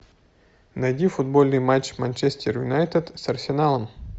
найди футбольный матч манчестер юнайтед с арсеналом